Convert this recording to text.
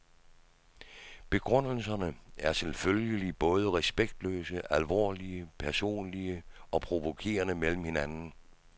Begrundelserne er selvfølgelig både respektløse, alvorlige, personlige og provokerende mellem hinanden.